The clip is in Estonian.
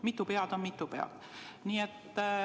Mitu pead on mitu pead.